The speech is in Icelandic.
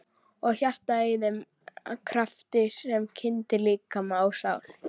Og hjartað að þeim krafti sem kyndir líkama og sál?